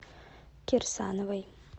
кирсановой